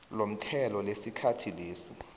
lomthelo lesikhathi lesi